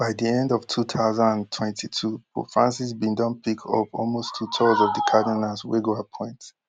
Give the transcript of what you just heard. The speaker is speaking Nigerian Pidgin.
by di end of two thousand and twenty-two pope francis bin don pick up almost two thirds of di cardinals wey go appoint